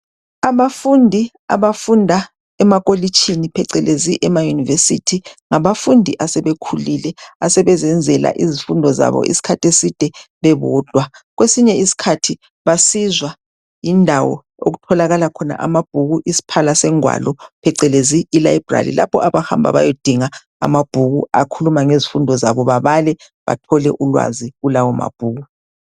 Abafundi abafunda emacollege phecelezi ema university ngabafundi asebekhulile asebezenzela izifundo zabo iskhathi eside bebodwa kwesinye isikhathi basizwa yindawo okuhlakhona amabhuku isiphala sengwalo phecelezi ilibrary lapho abahamba besiyadinga amabhuku akhuluma ngezifundo bebale bathole ulwazi kulawo mabhuku